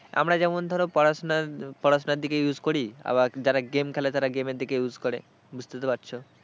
আমরা যেমন ধর পড়াশোনা পড়াশোনার দিকে use করি আবার যারা game খেলে তারা game এর দিকে use করে বুঝতে তো পারছো।